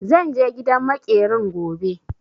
Zan je gidan maƙerin gobe.